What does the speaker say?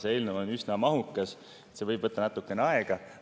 See eelnõu on üsna mahukas, see võib võtta natukene aega.